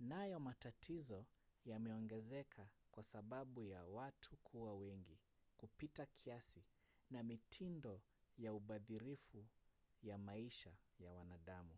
nayo matatizo yameongezeka kwa sababu ya watu kuwa wengi kupita kiasi na mitindo ya ubadhirifu ya maisha ya wanadamu